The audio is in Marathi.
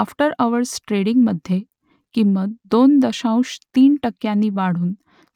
आफ्टर अवर्स ट्रेडिंगमधे किंमत दोन दशांश तीन टक्क्यांनी वाढून